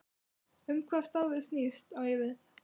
Um hvað starfið snýst, á ég við